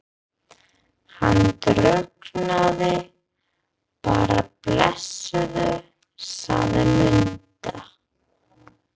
Hann drukknaði bara blessaður, sagði Munda.